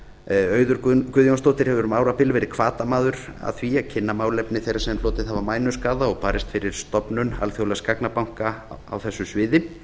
auður guðjónsdóttir hefur um árabil verið hvatamaður að því að kynna málefni þeirra sem hlotið hafa mænuskaða og barist fyrir stofnun alþjóðlegs gagnabanka á þessu sviði